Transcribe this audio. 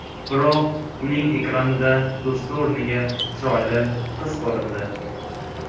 Biroq uning ekranida do‘sti o‘rniga chiroyli qiz ko‘rindi.